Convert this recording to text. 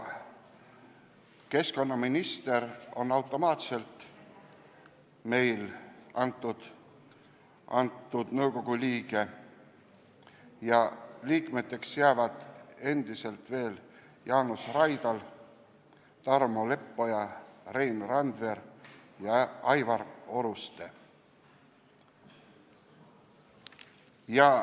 Keskkonnaminister on automaatselt selle nõukogu liige ja liikmeteks jäävad endiselt Jaanus Raidal, Tarmo Leppoja, Rein Randver ja Aivar Oruste.